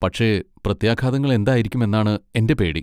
പക്ഷെ പ്രത്യാഘാതങ്ങൾ എന്തായിരിക്കും എന്നാണ് എൻ്റെ പേടി.